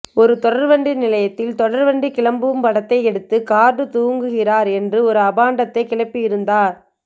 ஒரு தொடர்வண்டி நிலையத்தில் தொடர்வண்டி கிளம்பும் படத்தை எடுத்து கார்டு தூங்குகிறார் என்று ஒரு அபாண்டத்தை கிளப்பியிருந்தார்